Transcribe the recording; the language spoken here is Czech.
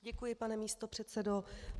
Děkuji, pane místopředsedo.